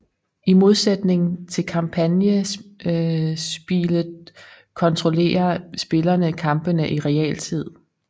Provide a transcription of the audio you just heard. I modsætning til kampagnespilet kontrollerer spillerne kampene i realtid